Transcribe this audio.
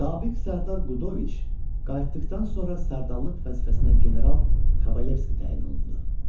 Sabiq sərdar Qudoviç qayıtdıqdan sonra sərdarlıq vəzifəsinə general Kavalivski təyin olundu.